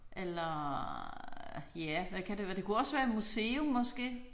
Eller ja hvad kan det være det kunne også være et museum måske